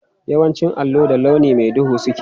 Yawancin allo da launi mai duhu suke.